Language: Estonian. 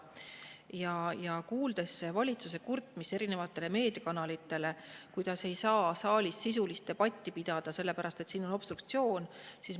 Oleme kuulnud valitsuse kurtmist erinevatele meediakanalitele, kuidas saalis ei saa sisulist debatti pidada, sellepärast et siin obstruktsioon.